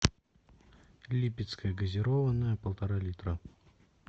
липецкая газированная полтора литра